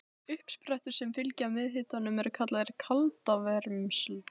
Uppsprettur sem fylgja meðalhitanum eru kallaðar kaldavermsl.